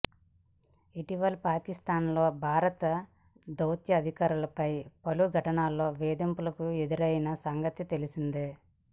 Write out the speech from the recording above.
ఇటీవల పాకిస్థాన్లో భారత దౌత్యాధికారులపై పలు ఘటనల్లో వేధింపులు ఎదురైన సంగతి తెలిసిందే